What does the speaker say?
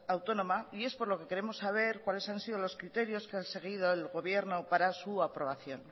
comunidad autónoma y es por lo que queremos saber cuáles han sido los criterios que han seguido el gobierno para su aprobación